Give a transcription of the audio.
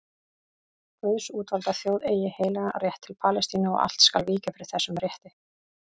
Guðs útvalda þjóð eigi heilagan rétt til Palestínu og allt skal víkja fyrir þessum rétti.